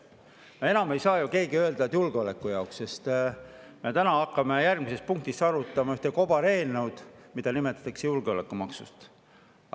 No enam ei saa ju keegi öelda, et julgeoleku jaoks, sest me hakkame järgmises punktis arutama ühte kobareelnõu, mida nimetatakse julgeolekumaksu.